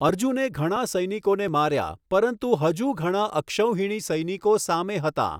અર્જુને ઘણા સૈનિકોને માર્યાં પરંતુ હજુ ઘણા અક્ષૌહિણી સૈનિકો સામે હતાં.